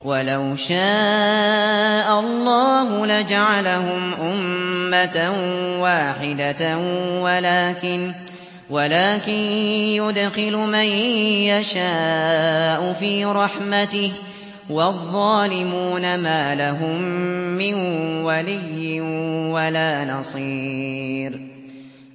وَلَوْ شَاءَ اللَّهُ لَجَعَلَهُمْ أُمَّةً وَاحِدَةً وَلَٰكِن يُدْخِلُ مَن يَشَاءُ فِي رَحْمَتِهِ ۚ وَالظَّالِمُونَ مَا لَهُم مِّن وَلِيٍّ وَلَا نَصِيرٍ